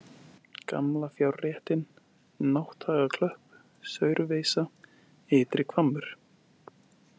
Gamla fjárréttin, Nátthagaklöpp, Saurveisa, Ytrihvammur